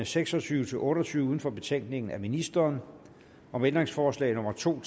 seks og tyve til otte og tyve uden for betænkningen af ministeren om ændringsforslag nummer to